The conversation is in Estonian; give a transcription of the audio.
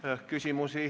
Küsimusi?